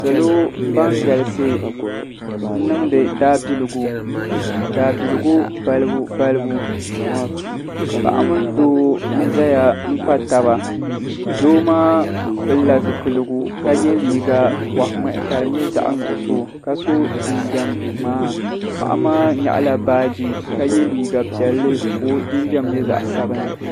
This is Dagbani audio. Salo ban galisi n niŋdi Daabiligu Daabiligu balibu balibu paɣa mini doo n zaya n kpa taba doo maa pilila zipiligu ka ye liiga boɣa ŋmahi ka di nyɛ zaɣa nuɣuso ka so jinjiɛm ŋmaa paɣa maa nyaɣala baaji ka ye liiga piɛlli ka o jinjiɛm nyɛ zaɣa sabinli.